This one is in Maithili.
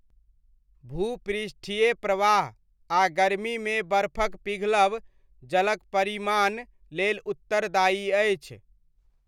भूपृष्ठीय प्रवाह आ गर्मीमे बर्फक पिघलब जलक परिमाण लेल उत्तरदायी अछि।